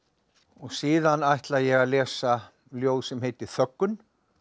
síðan ætla ég að lesa ljóð sem heitir þöggun